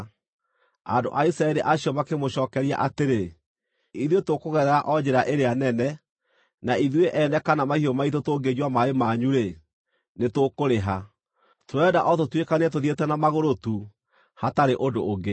Andũ a Isiraeli acio makĩmũcookeria atĩrĩ, “Ithuĩ tũkũgerera o njĩra ĩrĩa nene, na ithuĩ ene kana mahiũ maitũ tũngĩnyua maaĩ manyu-rĩ, nĩtũkũrĩha. Tũrenda o tũtuĩkanie tũthiĩte na magũrũ tu hatarĩ ũndũ ũngĩ.”